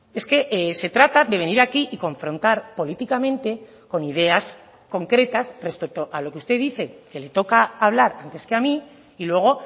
es que se trata de venir aquí y confrontar políticamente con ideas concretas respecto a lo que usted dice que le toca hablar antes que a mí y luego